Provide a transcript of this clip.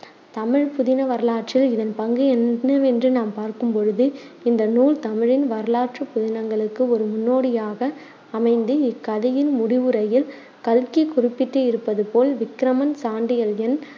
தமிழ்ப் புதின வரலாற்றில் இதன் பங்கு என்னவென்று நாம் பார்க்கும் பொழுது இந்த நூல் தமிழின் வரலாற்று புதினங்களுக்கு ஒரு முன்னோடியாக அமைந்து. இக்கதையின் முடிவுரையில், கல்கி குறிப்பிட்டு இருப்பது போல், விக்ரமன், சாண்டில்யன்